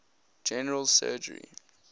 general surgery